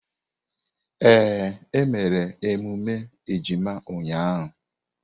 Ee, e mere emume ejima ụnyahụ.